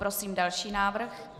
Prosím další návrh.